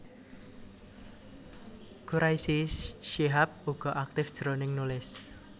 Quraisy Shihab uga aktif jroning nulis